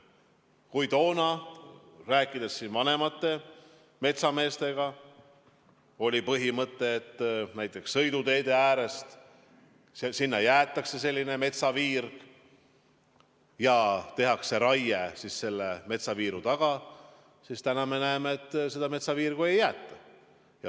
Kui toona – rääkides siin vanemate metsameestega – oli põhimõte, et näiteks sõiduteede äärde jäetakse metsaviirg ja raiet tehakse selle viiru taga, siis täna me näeme, et seda metsaviirgu ei jäeta.